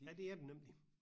Ja det er den nemlig